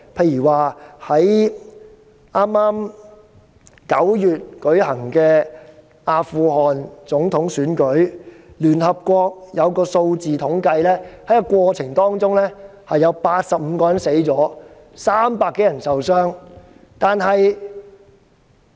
以剛於9月舉行的阿富汗總統選舉為例，聯合國的統計數字顯示，選舉過程中有85人死亡、300多人受傷。